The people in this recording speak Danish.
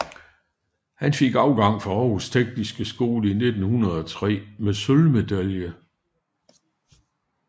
Han fik afgang fra Århus Tekniske Skole i 1903 med sølvmedalje